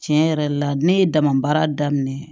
Tiɲɛ yɛrɛ la ne ye dama baara daminɛ